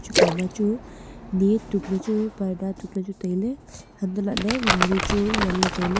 ekhama chu ni tukley chu parda tukley chu tailey hantohlaley ghadi chu nganley taey.